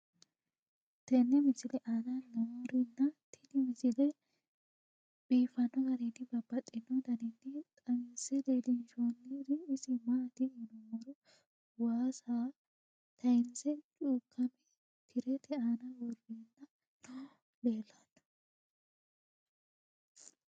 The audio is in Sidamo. tenne misile aana noorina tini misile biiffanno garinni babaxxinno daniinni xawisse leelishanori isi maati yinummoro waassa tayiinse cuukkamme tirette aanna woreenna noohu leelanno